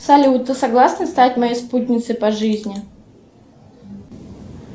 салют ты согласна стать моей спутницей по жизни